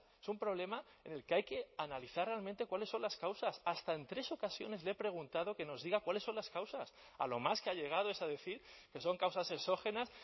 es un problema en el que hay que analizar realmente cuáles son las causas hasta en tres ocasiones le he preguntado que nos diga cuáles son las causas a lo más que ha llegado es a decir que son causas exógenas